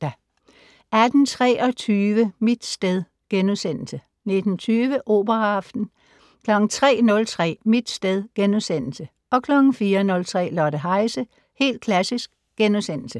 18:23: Mit sted * 19:20: Operaaften 03:03: Mit sted * 04:03: Lotte Heise - Helt Klassisk *